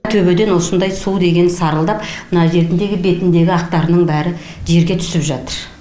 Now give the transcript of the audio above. төбеден осындай су деген сарылдап мына жеріндегі бетіндегі ақтарының бәрі жерге түсіп жатыр